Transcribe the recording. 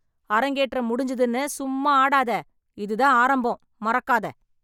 அரங்கேற்றம் முடிஞ்சதுன்னு சும்மா ஆடாத. இது தான் ஆரம்பம். மறக்காத